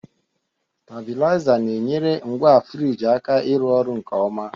Stabilizer na-enyere ngwa frigi aka ịrụ ọrụ nke ọma